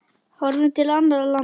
Horfum til annarra landa.